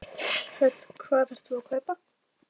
Hödd: Hvað ert þú að kaupa?